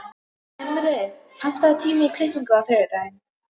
Himri, pantaðu tíma í klippingu á þriðjudaginn.